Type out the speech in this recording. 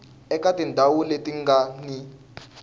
eka tindhawu leti nga ni